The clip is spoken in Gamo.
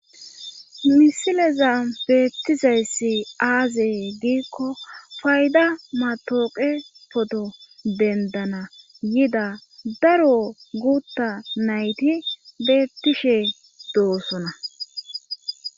misileza beettizayssi aazee giikko fayda matooqe poto dendana yida daro gutta nayti beettishe doosona